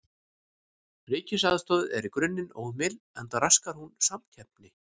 Ríkisaðstoð er í grunninn óheimil enda raskar hún samkeppni.